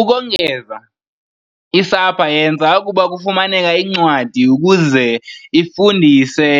Ukongeza, i-SAPA yenza ukuba kufumaneke incwadi ukuze ifundise